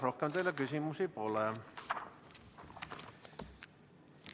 Rohkem teile küsimusi pole.